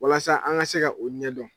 Walasa an ka se ka o ɲɛdɔn.